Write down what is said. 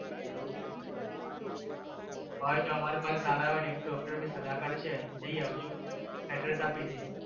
એવું અમારે પાસે સારા doctor સલાહકારી થી છે તો address આપી દયસ